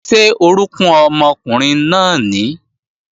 Ṣé orókún ọmọkùnrin náà nìí?